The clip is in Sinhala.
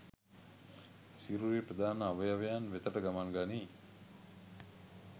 සිරුරේ ප්‍රධාන අවයවයන් වෙතට ගමන් ගනී